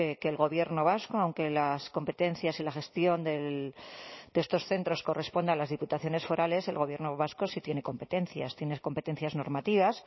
que el gobierno vasco aunque las competencias en la gestión de estos centros corresponde a las diputaciones forales el gobierno vasco sí tiene competencias tiene competencias normativas